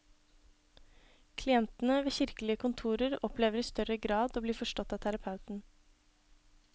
Klientene ved kirkelige kontorer opplever i større grad å bli forstått av terapeuten.